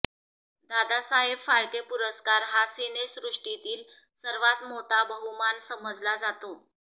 दादासाहेब फाळके पुरस्कार हा सिनेसृष्टीतील सर्वात मोठा बहुमान समजला जातो